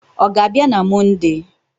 Ọ ga-abịa na Mọnde?